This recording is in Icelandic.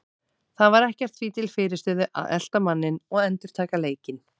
Það var ekkert því til fyrirstöðu að elta manninn og endurtaka leikinn.